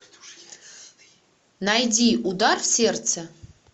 найди удар в сердце